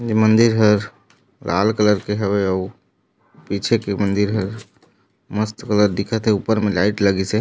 मंदिर हर लाल कलर के हवे अऊ पीछे के मंदिर ह मस्त कलर दिखथे ऊपर मे लाइट लगिस हे।